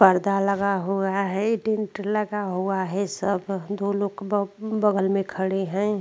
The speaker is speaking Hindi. पडदा लगा हुवा है टेंट लगा हुवा है सब दो लोक बगो बगल में खड़े है।